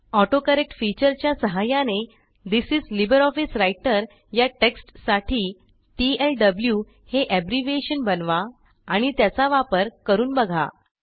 autocorrect फीचरच्या सहाय्याने this is LibreOffice Writerया टेक्स्टसाठी टीएलडब्लू हे एब्रिव्हिएशन बनवा आणि त्याचा वापर करून बघा